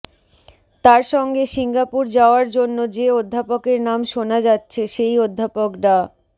তার সঙ্গে সিঙ্গাপুর যাওয়ার জন্য যে অধ্যাপকের নাম শোনা যাচ্ছে সেই অধ্যাপক ডা